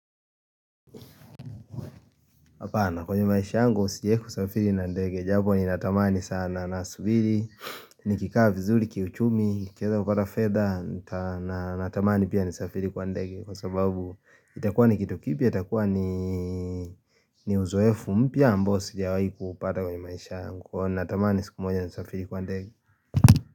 Apana kwenye maisha yangu sijawahi kusafiri na ndege, jabo ninatamani sana na subiri, nikikaa vizuri, kiuchumi, nikieza kupata fedha na natamani pia nisafiri kwa ndege kwa sababu itakuwa ni kitu kipya itakuwa ni ni uzuefu mpya ambao sijawahi kuupata kwenye maisha yangu, natamani siku moja nisafiri kwa ndege.